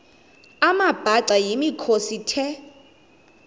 amabhaca yimikhosi the